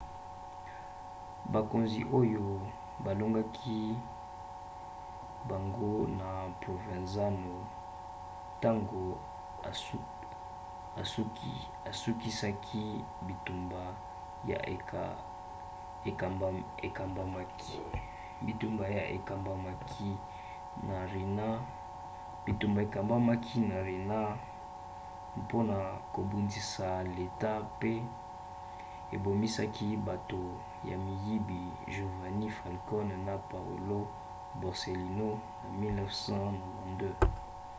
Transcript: bakonzi oyo balongaki bango na provenzano ntango asukisaki bitumba ya ekambamaki na riina mpona kobundisa leta mpe ebomisaki bato ya miyibi giovanni falcone na paolo borsellino na 1992.